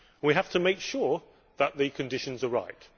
We have to make sure that the conditions are right.